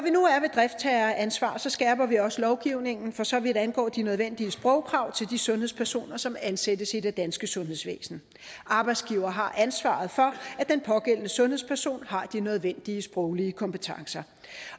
driftsherreansvaret skærper vi også lovgivningen for så vidt angår de nødvendige sprogkrav til de sundhedspersoner som ansættes i det danske sundhedsvæsen arbejdsgiver har ansvaret for at den pågældende sundhedsperson har de nødvendige sproglige kompetencer